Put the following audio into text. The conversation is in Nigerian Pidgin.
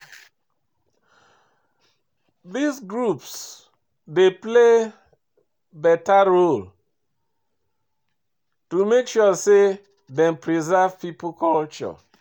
These groups dey play better role to make sure sey dem preserve pipo culture